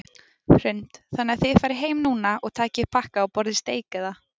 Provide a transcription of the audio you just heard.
Hrund: Þannig að þið farið heim núna og takið upp pakka og borðið steik eða?